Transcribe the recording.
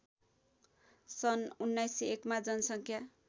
सन् १९०१ मा जनसङ्ख्या